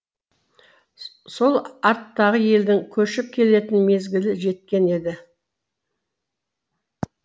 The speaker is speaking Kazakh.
сол арттағы елдің көшіп келетін мезгілі жеткен еді